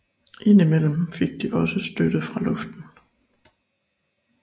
Indimellem fik de også støtte fra luften